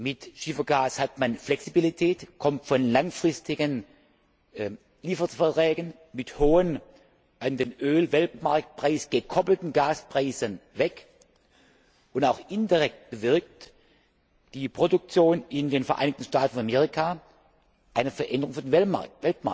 Mit Schiefergas hat man Flexibilität, kommt von langfristigen Lieferverträgen mit hohen an den Öl Weltmarktpreis gekoppelten Gaspreisen weg, und auch indirekt bewirkt die Produktion in den Vereinigten Staaten von Amerika eine Veränderung für den Weltmarkt